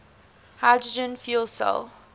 hydrogen fuel cell